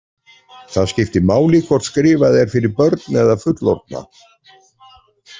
Það skiptir máli hvort skrifað er fyrir börn eða fullorðna.